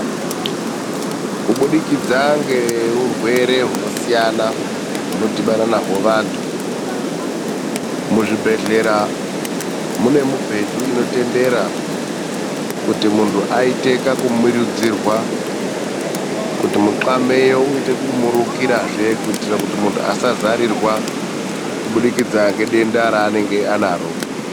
Kubudikidza ngeurwere huno siyana hunodhibana naho vantu muzvibhedhlera mune mubhedha inotendera kuti mundu aite kakumurudzirwa kuitira muxameyo uyite kakumurikira zve kuitira munhu asazarirwa kubudikidza nedenda ranenge anaro.